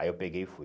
Aí eu peguei e fui.